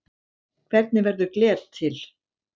Hvernig verður gler til?